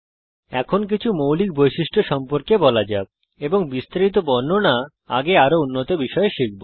এখন কিছু মৌলিক বৈশিষ্ট্য সম্পর্কে বলা যাক এবং বিস্তারিত বর্ণনা আগে আরো উন্নত বিষয়ে জানব